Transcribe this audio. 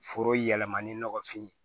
Foro yɛlɛmali nɔgɔfin ye